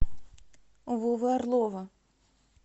вовы орлова